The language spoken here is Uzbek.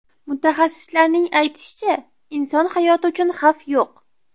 Mutaxassislarning aytishicha, inson hayoti uchun xavf yo‘q.